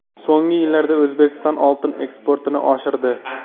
So‘nggi yillarda O‘zbekiston oltin eksportini oshirdi.